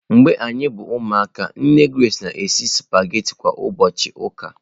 Mgbe anyị bụ ụmụaka, nne Grace na-esi sụpaghetị kwa ụbọchị ụka.